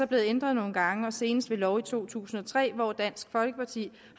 blevet ændret nogle gange og senest ved lov i to tusind og tre hvor dansk folkeparti